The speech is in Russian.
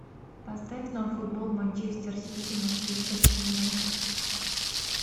поставь нам футбол манчестер сити манчестер юнайтед